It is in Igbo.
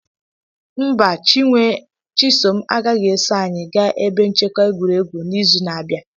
Mba, chisom agaghị eso anyị gaa ebe nchekwa egwuregwu n'izu na-abịa.